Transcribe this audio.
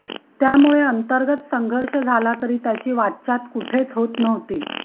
त्यामुळे अंतर्गत संघर्ष झाला तरी त्याची वाच्यता कुठेच होत नव्हती